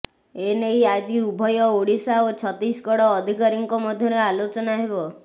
ଏ ନେଇ ଆଜି ଉଭୟ ଓଡିଶା ଓ ଛତିଶଗଡ଼ ଅଧିକାରୀଙ୍କ ମଧ୍ୟରେ ଆଲୋଚନା ହେବ